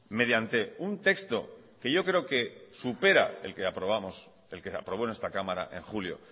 mediante un texto que yo creo que supera el que aprobamos el que aprobó en esta cámara en julio